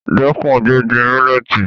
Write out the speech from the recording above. Dẹ́kun gbígbin mílẹ́tì